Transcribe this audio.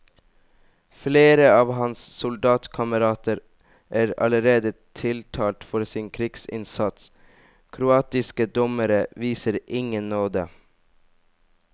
Flere av hans soldatkamerater er allerede tiltalt for sin krigsinnsats, kroatiske dommere viser ingen nåde.